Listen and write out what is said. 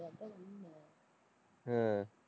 ஹம்